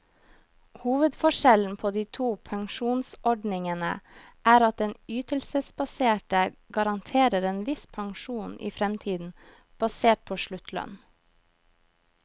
Hovedforskjellen på de to pensjonsordningene er at den ytelsesbaserte garanterer en viss pensjon i fremtiden, basert på sluttlønn.